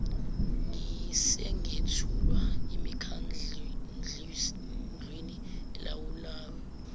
singethulwa emikhandlwini elawulayo